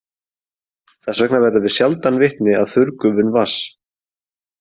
Þess vegna verðum við sjaldan vitni að þurrgufun vatns.